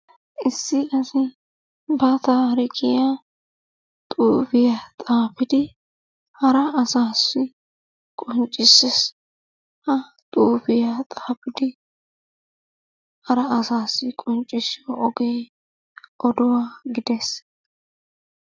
Issi asi ba tarikiyaa xufiyaa xafiddi hara asassi qonccisessi. Ha xuufiyaa xaafidi hara asassi qonccisiyo ogee oduwa gidees.